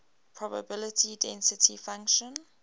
probability density function